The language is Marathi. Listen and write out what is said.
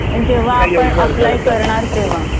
पण जेव्हा आपण आपलाय करणार तेव्हा